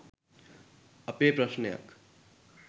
අපේ ප්‍රශ්නයක්.